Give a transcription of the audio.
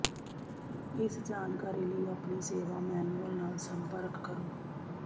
ਇਸ ਜਾਣਕਾਰੀ ਲਈ ਆਪਣੀ ਸੇਵਾ ਮੈਨੂਅਲ ਨਾਲ ਸੰਪਰਕ ਕਰੋ